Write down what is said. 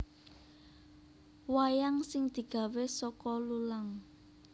Wayang sing digawe saka lulang